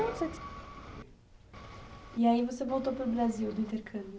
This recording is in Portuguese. Não... E aí você voltou para o Brasil do intercâmbio.